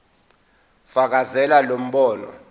fakazela lo mbono